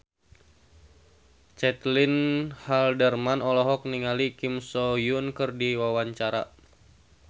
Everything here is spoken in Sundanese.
Caitlin Halderman olohok ningali Kim So Hyun keur diwawancara